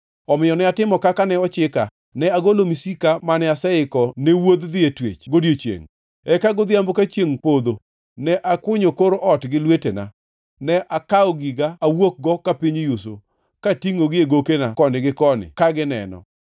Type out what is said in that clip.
Omiyo ne atimo kaka ne ochika. Ne agolo misika mane aseiko ne wuodh dhi e twech godiechiengʼ. Eka godhiambo ka chiengʼ dhi podho ne akunyo kor ot gi lwetena. Ne akawo giga awuokgo ka piny oyuso, ka atingʼogi e gokena koni gi koni ka gineno.